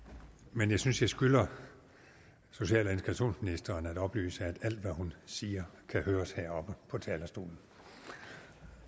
men jeg synes jeg skylder social og integrationsministeren at oplyse at alt hvad hun siger kan høres heroppe på talerstolen